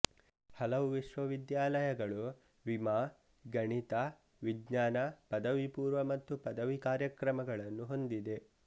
ಹಲವು ವಿಶ್ವವಿದ್ಯಾಲಯಗಳು ವಿಮಾ ಗಣಿತ ವಿಜ್ಞಾನ ಪದವಿಪೂರ್ವ ಮತ್ತು ಪದವಿ ಕಾರ್ಯಕ್ರಮಗಳನ್ನು ಹೊಂದಿದೆ